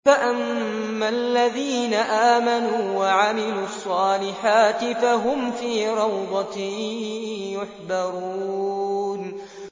فَأَمَّا الَّذِينَ آمَنُوا وَعَمِلُوا الصَّالِحَاتِ فَهُمْ فِي رَوْضَةٍ يُحْبَرُونَ